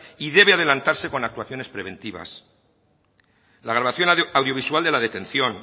y debe adelantarse con actuaciones preventivas la grabación audiovisual de la detención